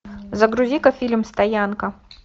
загрузи ка фильм стоянка